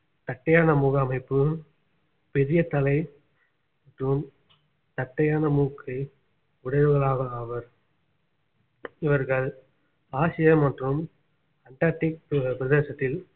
தட்டையான முக அமைப்பு பெரிய தலை மற்றும் தட்டையான மூக்கை உடையவர்களாக ஆவார் இவர்கள் ஆசியா மற்றும் அண்டார்டிக் பிர~ பிரதேசத்தில்